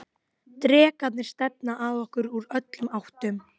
Drekarnir stefna að okkur úr öllum áttum.